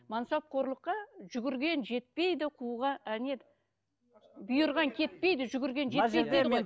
мансапқорлыққа жүгірген жетпейді не еді бұйырған кетпейді жүгірген жетпейді дейді ғой